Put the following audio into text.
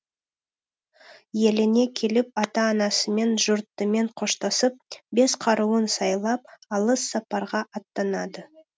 еліне келіп ата анасымен жұртымен қоштасып бес қаруын сайлап алыс сапарға аттанады